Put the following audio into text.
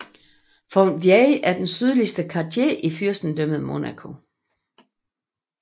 Fontvieille er den sydligste quartier i Fyrstendømmet Monaco